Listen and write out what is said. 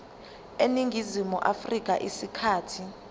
eningizimu afrika isikhathi